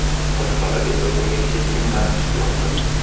Boshqalar esa bunga keskin qarshi chiqmoqda.